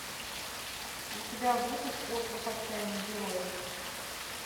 у тебя будет остров отчаянных героев